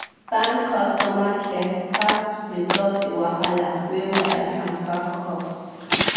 bank customer care fast resolve the wahala wey wire transfer cause.